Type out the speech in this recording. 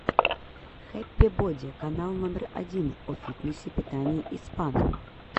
хэппи боди канал номер один о фитнесе питании и спа